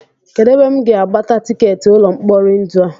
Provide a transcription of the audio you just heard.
Kedụ ebe m ga-agbata tikeetị ụlọ mkpori ndụ a?